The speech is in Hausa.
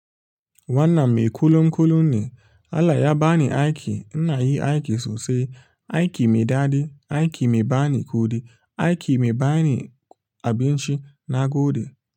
Wannan mai kulunkulun ne. Allah ya bani aiki. Ina yi aiki sosai. Aiki mai daɗi. Aiki mai bani kuɗi. Aiki mai bani abincina gode.